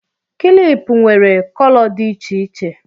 kịlịpù nwere kolo dị iche iche